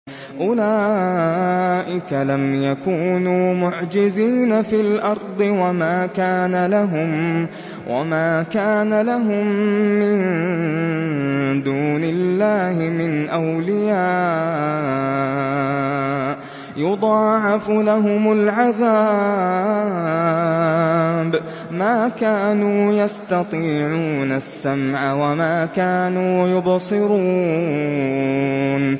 أُولَٰئِكَ لَمْ يَكُونُوا مُعْجِزِينَ فِي الْأَرْضِ وَمَا كَانَ لَهُم مِّن دُونِ اللَّهِ مِنْ أَوْلِيَاءَ ۘ يُضَاعَفُ لَهُمُ الْعَذَابُ ۚ مَا كَانُوا يَسْتَطِيعُونَ السَّمْعَ وَمَا كَانُوا يُبْصِرُونَ